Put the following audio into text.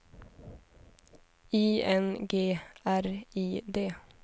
I N G R I D